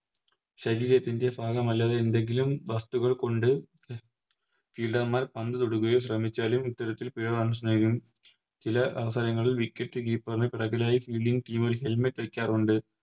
ശരീരത്തിൻറെ ഭാഗമല്ലാത്ത എന്തെങ്കിലും വസ്തുക്കൾകൊണ്ട് Fielder മാർ പന്ത് തൊടുകയും ശ്രമിച്ചാലും ഇത്തരത്തിൽ പിഴ Runs നൽകും ചില അവസരങ്ങളിൽ Wicket keeper ന് പിറകിലായി Fielding team helmet വെക്കാറുണ്ട്